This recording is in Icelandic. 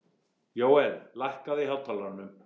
Jóel, lækkaðu í hátalaranum.